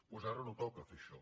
doncs ara no toca fer això